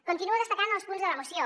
continuo destacant els punts de la moció